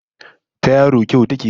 Ta yaro kyau ta ke bata karko